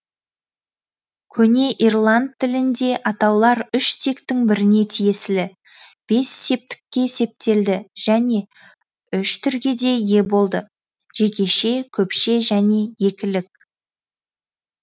көне ирланд тілінде атаулар үш тектің біріне тиесілі бес септікке септелді және үш түрге де ие болды жекеше көпше және екілік